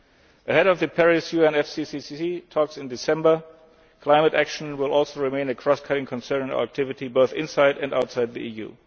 in July. Ahead of the Paris UNFCCC talks in December, climate action will also remain a cross cutting concern in our activity, both inside and outside